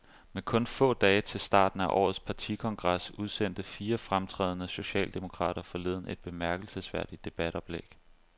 Med kun få dage til starten af årets partikongres udsendte fire fremtrædende socialdemokrater forleden et bemærkelsesværdigt debatoplæg.